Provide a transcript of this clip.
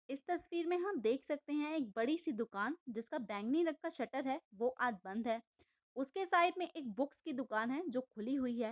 इस तस्वीर में हम देख सकते है एक बड़ी सी दुकान जिसका बैंगनी रंग का शटर है वो आज बंद है उसके साइड में एक बुक्स की दुकान है जो की खुली हुई है।